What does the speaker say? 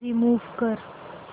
remove कर